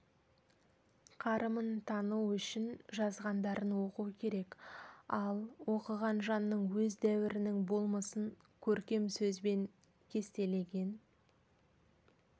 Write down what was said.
қарымын тану үшін жазғандарын оқу керек ал оқыған жанның өз дәуірінің болмысын көркем сөзбен кестелеген